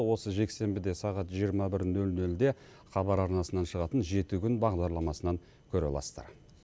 осы жексенбіде сағат жиырма бір нөл нөлде хабар арнасынан шығатын жеті күн бағдарламасынан көре аласыздар